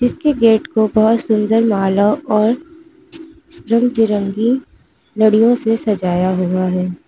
इनके गेट को बहुत सुंदर मालों और रंग बिरंगी लड़ियों से सजाया हुआ है।